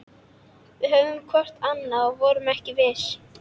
Við horfðum hvort á annað- og vorum ekki viss.